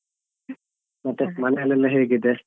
ಮತ್ತೆ ಮನೆಲೆಲ್ಲಾ ಹೇಗಿದೆ?